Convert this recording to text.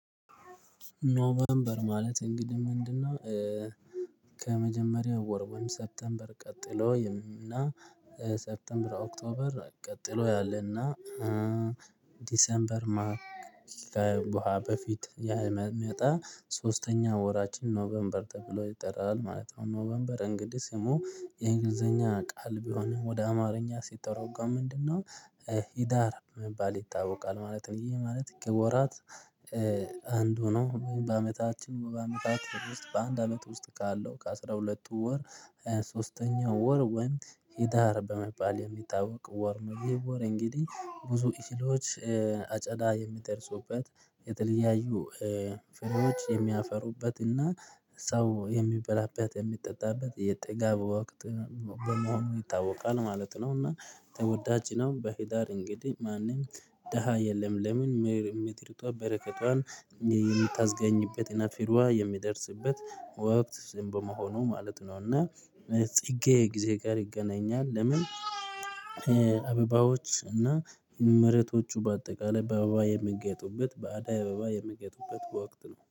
ኖቨርበር ማለት እንግዲህ ምንድነው ከመጀመሪያው ወር ሴፕቴንበር ቀጥሎ እና ሰፕቴንበር ኦክቶበር ቀጥሎ ያለና ዲሰንበር ማር ከዋህ በፊት የመጣ ሶስተኛ ወራችን ኖቬምበር ተብሎ ይጠራል ማለት ነው። ኖቬምበር እንግዲህ ስሙ የእንግሊዘኛ ቃል ቢሆንም ወደ አማርኛ ሲተረጎም ምንድነው ህዳር መባል ይታወቃል ማለት ነው። ይህ ማለት ከወራት አንዱ ነው። በአመታችን በአመታት ውስጥ በአንድ አመት ውስጥ ካለው ከአሥራ ሁለት ወር ሶስተኛው ወር ወይም ሂዳር በመባል የሚታወቅ ወር ነው። ይህ ወር እንግዲህ ብዙ እህሎች አጨዳ የሚደርሱበት የተለያዩ ፍሬዎች የሚያፈሩበትና ሰው የሚበላበት የሚጠጣበት የጥጋብ ወቅት በመሆኑ ይታወቃል ማለት ነው። እና ተወዳጅ ነው። በሄዳር እንግዲህ ማንም ደሃ የለም። ለምን ምድሪቷ በረከቷን የምታስገኝበትን ፍሬዋ የሚደርስበት ወቅት በመሆኑ ማለት ነው። እና ጽጌ ጊዜ ጋር ይገናኛል። ለምን አበባዎች እና መሬቶቹ በአጠቃላይ በአበባ የሚያጌጡበት በአዳይ አበባ የሚያጌጡበት ወቅት ነው።